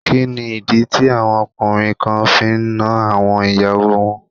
Kí ni ìdí tí àwọn ọkùnrin kan fi ń nan àwọn ìyàwó wọn?